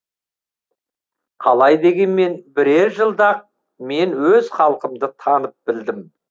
қалай дегенмен бірер жылда ақ мен өз халқымды танып білдім